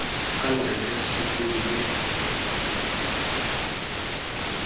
angayi esuthwini livakele